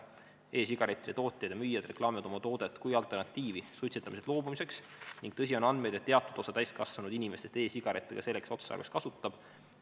E-sigarettide tootjad ja müüjad reklaamivad oma toodet kui alternatiivi suitsetamisest loobumiseks ning on andmeid, et teatud osa täiskasvanud inimestest e-sigarette ka selleks otstarbeks kasutab.